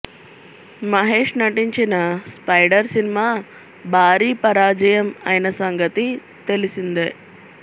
మహేష్ నటించిన స్పైడర్ సినిమా భారీ పరాజయం అయిన సంగతి తెలిసిందే